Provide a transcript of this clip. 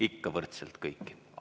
Ikka kohtlen kõiki võrdselt.